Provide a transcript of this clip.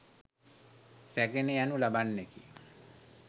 රැගෙන යනු ලබන්නකි.